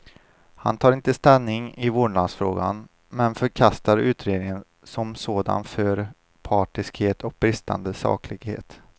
Han tar inte ställning i vårdnadsfrågan, men förkastar utredningen som sådan för partiskhet och bristande saklighet.